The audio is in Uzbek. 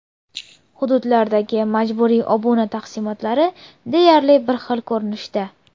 Hududlardagi majburiy obuna taqsimotlari deyarli bir xil ko‘rinishda.